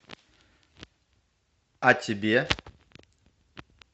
о тебе